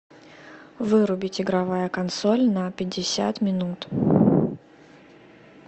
вырубить игровая консоль на пятьдесят минут